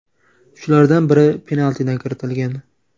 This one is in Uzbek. Shulardan biri penaltidan kiritilgan.